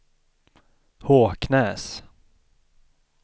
Håknäs